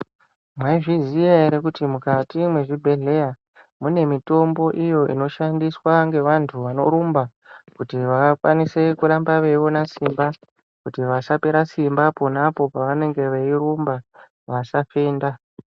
Mwaizviziya ere kuti mukati mwezvibheheya mune mitombo iyo inoshandiswa ngevantu vanorumba kuti vakwanise kuramba veiona simba, kuti vasapera simba pona apo pavanenge veirumba, vasafenda.